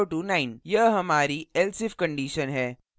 यह हमारी elseif condition है